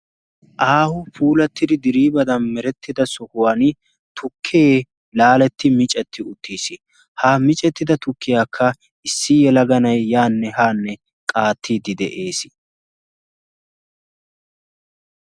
Aaho puulattidi diriibadan merettida sohuwan tukkee laaletti micetti uttiis. Ha micettida tukkiyaakka issi yelaga na'ay yaanne haanne qaattiiddi de'ees.